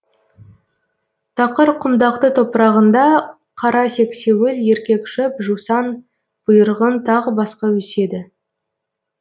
тақыр құмдақты топырағында қара сексеуіл еркек шөп жусан бұйырғын тағы басқа өседі